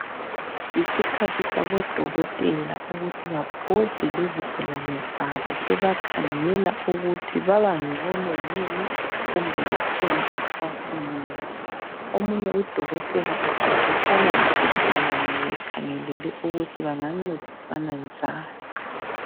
Yisikhathi sabo dokotela ukuthi babhode lezigulane zabo bebakhangela ukuthi babangcono yini kumbe kukhona okusafuneka. Omunye udokotela uxoxisana lesigulane bekhangelele ukuthi bengancedisana njani.